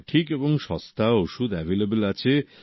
সঠিক এবং সস্তা ওষুধ অ্যাভেইলেবল আছে